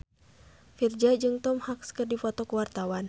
Virzha jeung Tom Hanks keur dipoto ku wartawan